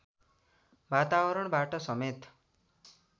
वातावतरणबाट समेत